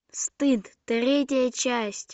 стыд третья часть